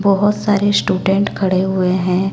बहोत सारे स्टूडेंट खड़े हुए हैं।